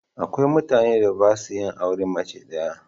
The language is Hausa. Akwai mutanen da ba sa yin auren mace ɗaya.